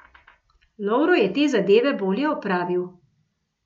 Lovro je te zadeve bolje opravil.